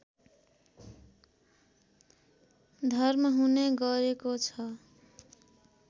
धर्म हुने गरेको छ